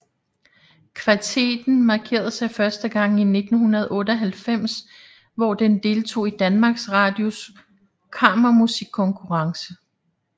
Kvartetten markerede sig første gang i 1998 hvor den deltog i Danmarks Radios kammermusikkonkurence